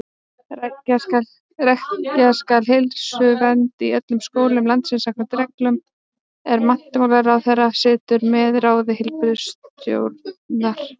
Rækja skal heilsuvernd í öllum skólum landsins samkvæmt reglum, er menntamálaráðherra setur með ráði heilbrigðisstjórnar.